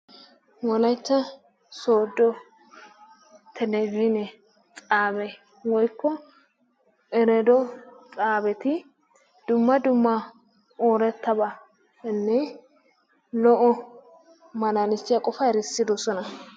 Wolaytta sooddo telebezhinee xaabee woykko erooddo xaabeti dumma dumma oorettabatanne lo"o malaalisiya qofaa erssiddosona.